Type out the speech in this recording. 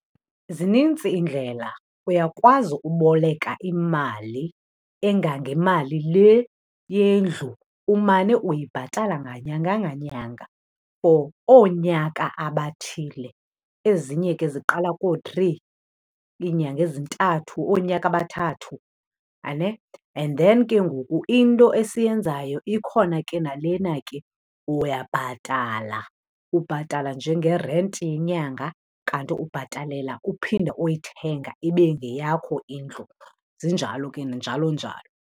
Zinintsi iindlela. Uyakwazi uboleka imali engangemali le yendlu, umane uyibhatala nganyanga nganyanga for oonyaka abathile. Ezinye ke ziqala koo-three, iinyanga ezintathu, oonyaka abathathu . And then ke ngoku into esiyenzayo ikhona ke nalena ke, uyabhatala. Ubhatala njengerenti yenyanga, kanti ubhatalela uphinda uyithenga ibe ngeyakho indlu. Zinjalo ke njalo njalo.